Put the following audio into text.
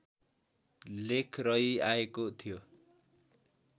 लेख रहिआएको थियो